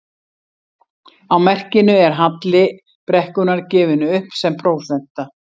Á merkinu er halli brekkunnar gefinn upp sem prósenta.